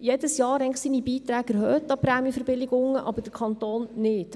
jedes Jahr seine Beiträge an Prämienverbilligungen eigentlich erhöht, aber der Kanton nicht.